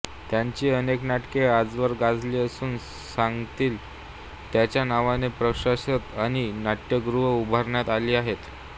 त्यांची अनेक नाटके आजवर गाजली असून सांगलीत त्यांच्या नावाचे प्रशस्त अशी नाट्यगृहं उभारण्यात आली आहेत